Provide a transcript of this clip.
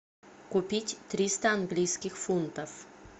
купить триста английских фунтов